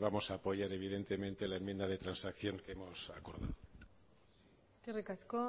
vamos a apoyar evidentemente la enmienda de transacción que hemos acordado eskerrik asko